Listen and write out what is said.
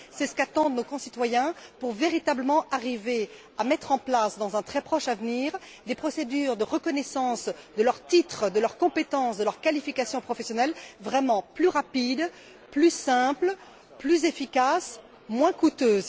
C'est ce qu'attendent de nous nos concitoyens que nous arrivions à mettre en place, dans un très proche avenir, des procédures de reconnaissance de leurs titres, de leurs compétences, de leurs qualifications professionnelles vraiment plus rapides, plus simples, plus efficaces, moins coûteuses.